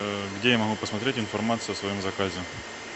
где я могу посмотреть информацию о своем заказе